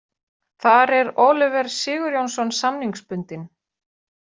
Þar er Oliver Sigurjónsson samningsbundinn.